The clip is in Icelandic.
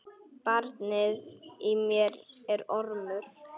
Barnið í mér er ormur.